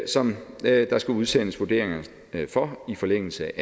som der skal udsendes vurderinger for i forlængelse